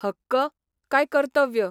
हक्क काय कर्तव्य?